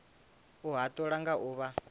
u hatula nga u vha